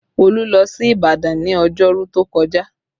Olu lọ sí Ìbàdàn ní ọjọ́rú tó kọjá